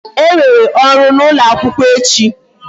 E nwere ọrụ n'ụlọ akwụkwọ echi